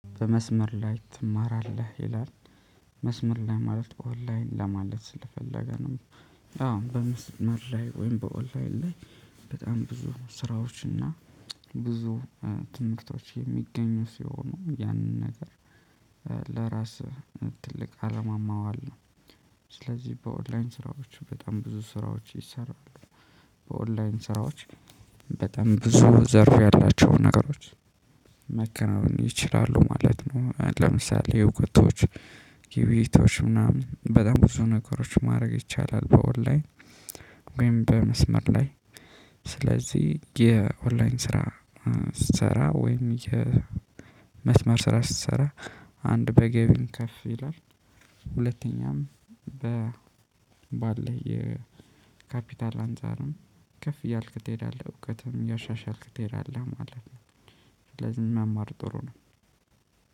በመስመር ላይ ትማራለህ ይላል መስመር ላይ ማለት ኦንላይን ለማለት ስለፈለገ ነው። አዎ በምስመር ላይ ወይም በኦንላይን ላይ። በጣም ብዙ ስራዎች እና። ብዙ ትምህርቶች የሚገኙ ሲሆኑ ያንን ነገር። ለራስህ ትልቅ አለማ ማዋል ነው። ስለዚህ በኦንላይን ስራዎች በጣም ብዙ ስራዎች ይሰራሉ። በኦንላይን ስራዎች በጣም ብዙ ዘርፍ ያላቸውን ነገሮች። መከናወን ይችላሉ ማለት ነው። ለምሳሌ የውቀቶች የቤቶች ምናምን በጣም ብዙ ነገሮች ማድረግ ይቻላል። በወር ላይ ወይም በመስመር ላይ። ስለዚህ የኦንላይን ስራ ስትሰራ ወይም የመስመር ስራ ስትሰራ አንድ በገቢም ከፍ ይላል። ሁለተኛም በ ባለህ የካፒታል አንፃርም ከፍ እያልክ ትሄዳለህ እውቀትም እያሻሻልክ ትሄዳለህ ማለት ነው። ስለዚህ መማር ጥሩ ነው።